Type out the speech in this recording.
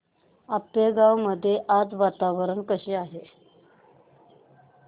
आपेगाव मध्ये आज वातावरण कसे आहे